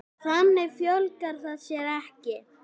Þannig fjölgar það sér ekki.